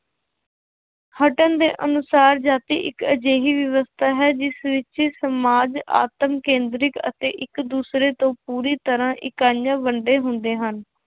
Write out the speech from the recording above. ਹਟਨ ਦੇ ਅਨੁਸਾਰ ਜਾਤੀ ਇੱਕ ਅਜਿਹੀ ਵਿਵਸਥਾ ਹੈ ਜਿਸ ਵਿੱਚ ਸਮਾਜ ਆਤਮ ਕੇਂਦਰਿਕ ਅਤੇ ਇੱਕ ਦੂਸਰੇ ਤੋਂ ਪੂਰੀ ਤਰ੍ਹਾਂ ਇਕਾਈਆਂ ਵੰਡੇ ਹੁੰਦੇ ਹਨ।